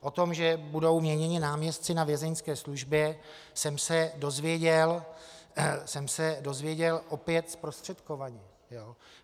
O tom, že budou měněni náměstci na Vězeňské službě, jsem se dozvěděl opět zprostředkovaně.